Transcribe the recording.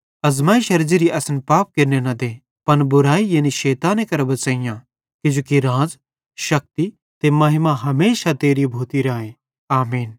आज़मैइशरे ज़िरिये असन पाप केरने न दे पन बुरैई यानी शैताने करां बच़ेइयां किजोकि राज़ शक्ती ते महिमा हमेशा तेरी भोती राए आमीन